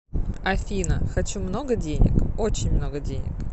афина хочу много денег очень много денег